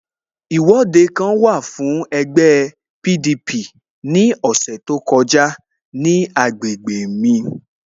Ìwọ́de kan wà fún ẹgbẹ́ PDP ní ọ̀sẹ̀ tó kọjá ní agbègbè mj